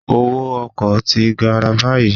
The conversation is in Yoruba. Owó ọkọ̀ ti gara báyìí